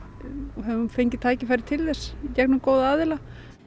við höfum fengið tækifæri til þess í gegnum góða aðila